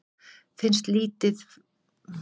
Finnst litið framhjá sér